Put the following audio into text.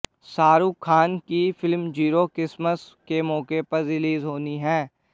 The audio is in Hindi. शाहरुख खान की फिल्म जीरो क्रिसमस के मौके पर रिलीज होनी है